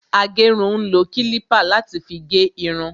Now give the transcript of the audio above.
Agérun ń lo kílípà láti fi gé irun